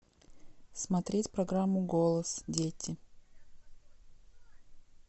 смотреть программу голос дети